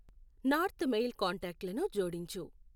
north mail contact లను జోడించు